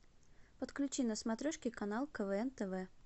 подключи на смотрешке канал квн тв